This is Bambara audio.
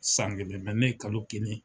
San kelen mɛ ne ye kalo kelen